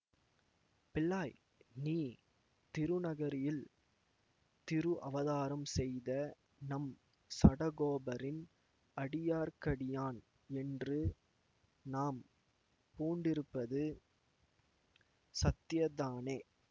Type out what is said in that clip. பிள்ளாய் நீ திருநகரியில் திரு அவதாரம் செய்த நம் சடகோபரின் அடியார்க்கடியான் என்று நாம் பூண்டிருப்பது சத்தியதானே